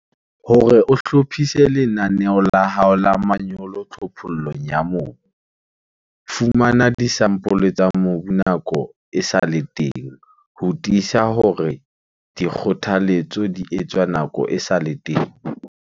Hore o hlophise lenaneo la hao la manyolo tlhophollong ya mobu, fumana disampole tsa mobu nako e sa le teng ho tiisa hore dikgothaletso di etswa nako e sa le teng.